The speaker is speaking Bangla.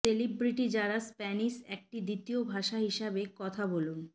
সেলিব্রিটি যারা স্প্যানিশ একটি দ্বিতীয় ভাষা হিসাবে কথা বলুন